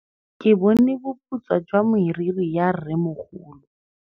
Ke bone boputswa jwa meriri ya rrêmogolo.